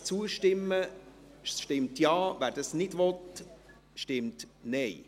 Wer dem zustimmen will, stimmt Ja, wer dies nicht will, stimmt Nein.